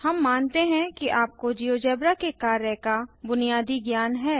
हम मानते हैं कि आपको जियोजेब्रा के कार्य का बुनियादी ज्ञान है